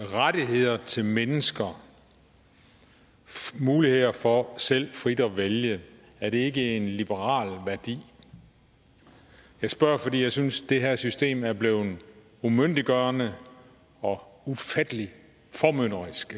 rettigheder til mennesker muligheder for selv frit at vælge er det ikke en liberal værdi jeg spørger fordi jeg synes det her system efterhånden er blevet umyndiggørende og ufattelig formynderisk